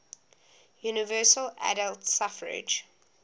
universal adult suffrage